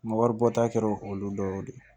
N ka wari bɔta kɛra olu dɔw de ye